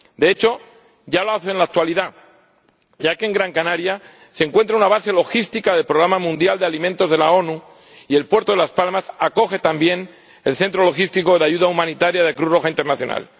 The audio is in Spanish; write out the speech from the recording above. De hecho, ya lo hace en la actualidad, ya que en Gran Canaria se encuentra una base logística del Programa Mundial de Alimentos de las Naciones Unidas y el puerto de Las Palmas acoge también el centro logístico de ayuda humanitaria de Cruz Roja Internacional.